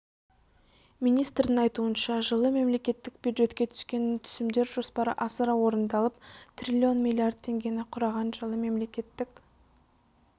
министрдің айтуынша жылы мемлекеттік бюджетке түскен түсімдер жоспары асыра орындалып триллион миллиард теңгені құраған жылы мемлекеттік